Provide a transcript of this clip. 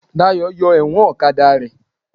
Dayọ̀ yọ ẹ̀wọ̀n ọ̀kadà rẹ̀